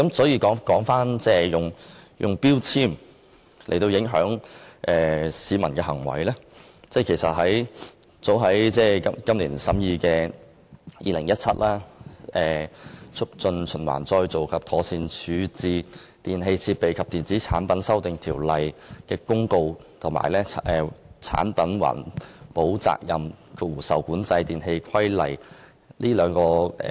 有關使用標籤影響市民行為的另一法例，就是立法會今年早前審議的《2017年〈2016年促進循環再造及妥善處置條例〉公告》及《產品環保責任規例》。